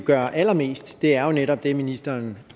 gør allermest er jo netop det ministeren